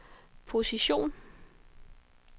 position